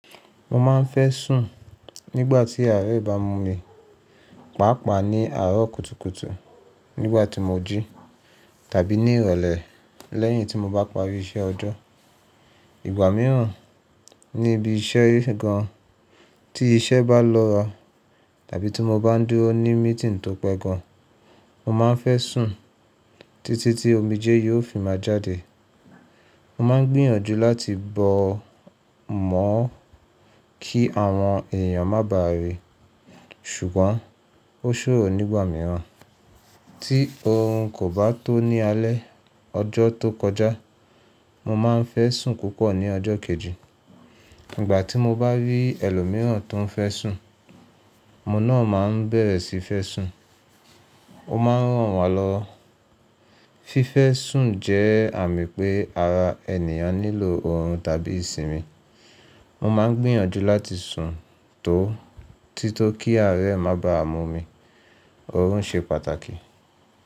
Mo ma n fẹ́ sùn nígbà tí àárẹ̀ bá mú mi, pàápàá ní àárọ̀ kùtùkùtù nígbà tí mo jí tàbí ní ìrọ̀lẹ́ lẹ́yìn tí mo bá parí iṣẹ́ ọjọ́. Ìgbà mìíràn, níbi iṣẹ́ gan tí iṣẹ́ bá lọ́ ra tàbí tí mo bá ń dúró ní meetìǹg tó pẹ́ gan, mo ma n fẹ́ sùn títí tí omijé yóò fi má jáde. Mo ma n gbìyànjú láti bọ́ mọ́ kí àwọn èèyàn má báà rí, ṣùgbọ́n ó ṣòro nígbà mìíràn tí oorun kò bá tó ní alẹ́. Ọjọ́ tó kọjá, mo ma n fẹ́ sùn púpọ̀ ní ọjọ́ kejì. Ìgbà tí mo bá rí ẹlòmíràn tó ń fẹ́ sùn, mo náà má ń bẹ̀rẹ̀ síí fẹ́ sùn. Ó má ń ràn wá lọ. Fífẹ́ sùn jẹ́ àmì pé ara ènìyàn nílò oorun tàbí ìsinmi. Mo ma n gbìyànjú láti sùn tó tító kí àárẹ̀ má bá mú mi. Oorun ṣe pàtàkì.